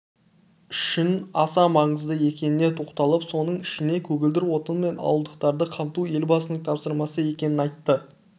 үшін аса маңызды екеніне тоқталып соның ішінде көгілдір отынмен ауылдықтарды қамту елбасының тапсырмасы екенін айтты